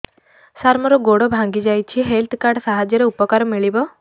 ସାର ମୋର ଗୋଡ଼ ଭାଙ୍ଗି ଯାଇଛି ହେଲ୍ଥ କାର୍ଡ ସାହାଯ୍ୟରେ ଉପକାର ମିଳିବ